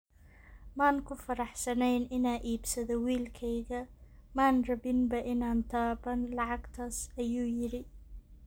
"Maan ku faraxsanayn inaan iibsado wiilkayga, maan rabinba inaan taaban lacagtaas," ayuu yiri.